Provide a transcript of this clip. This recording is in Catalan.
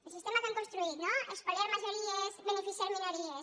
el sistema que han construït no espoliar majories beneficiar minories